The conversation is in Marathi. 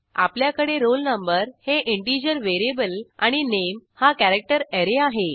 आपल्याकडे roll no हे इंटिजर व्हेरिएबल आणि नामे हा कॅरॅक्टर अॅरे आहे